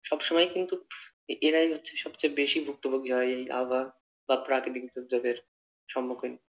সবসময় কিন্তু এরাই হচ্ছে সবচেয়ে বেশি ভুক্তভোগী হয় এই আবহাওয়া বা প্রাকৃতিক দুর্যোগের সম্মুখীন।